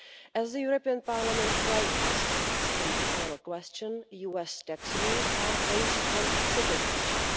As Parliament rightly states in the oral question, US tax rules are based on citizenship.